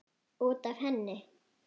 Út af henni!